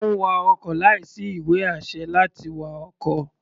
Ó ń wa ọkọ̀ láìsí ìwé-àṣẹ láti wa ọkọ̀.